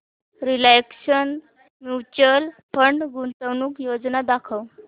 Reliance mutual fund गुंतवणूक योजना दाखव